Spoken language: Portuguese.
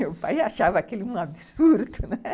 Meu pai achava aquilo um absurdo.